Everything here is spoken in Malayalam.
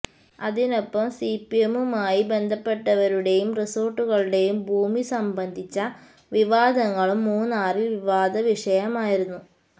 അതിനൊപ്പം സി പി എമ്മുമായി ബന്ധപ്പെട്ടവരുടെയും റിസോർട്ടുകളുടെയും ഭൂമി സംബന്ധിച്ച വിവാദങ്ങളും മൂന്നാറിൽ വിവാദ വിഷയമായിരുന്നു